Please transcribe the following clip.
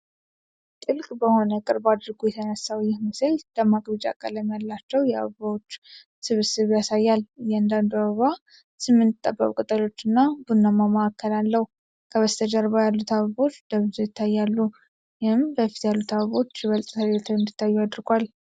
ጥልቅ በሆነ ቅርብ አድርጎ የተነሳው ይህ ምስል ደማቅ ቢጫ ቀለም ያላቸውን የአበባዎች ስብስብ ያሳያል። እያንዳንዱ አበባ ስምንት ጠባብ ቅጠሎች እና ቡናማ ማዕከል አለው። ከበስተጀርባ ያሉት አበቦች ደበዝዘው ይታያሉ፣ ይህም በፊት ያሉት አበቦች ይበልጥ ተለይተው እንዲታዩ አድርጓል።